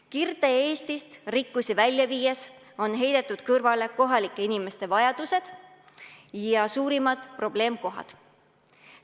Kirde-Eestist rikkusi välja viies on heidetud kõrvale kohalike inimeste vajadused ja suurimad probleemkohad.